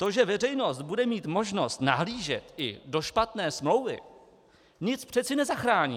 To, že veřejnost bude mít možnost nahlížet i do špatné smlouvy, nic přece nezachrání.